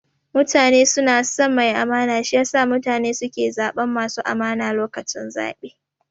Mutane suna son mai amana, shi yasa mutane suke zaɓan masu amana lokacin zaɓe